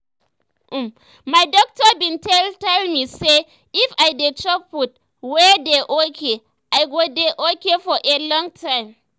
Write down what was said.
um my doctor been tell tell me say um if i dey chop food wey dey um okay i go dey okay for a long time